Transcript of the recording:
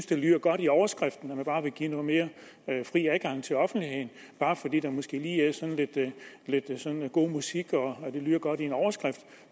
det lyder godt i overskriften at man bare vil give noget mere fri adgang til offentligheden bare fordi der måske lige er sådan lidt god musik og det lyder godt i en overskrift